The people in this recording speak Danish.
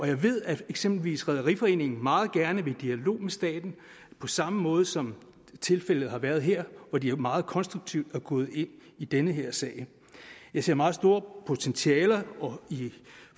jeg ved at eksempelvis danmarks rederiforening meget gerne vil i dialog med staten på samme måde som tilfældet har været her hvor de meget konstruktivt er gået ind i den her sag jeg ser meget store potentialer